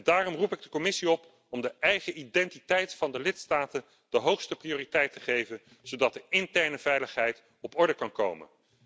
Daarom roep ik de Commissie op om de eigen identiteit van de lidstaten de hoogste prioriteit te geven, zodat de interne veiligheid op orde kan komen.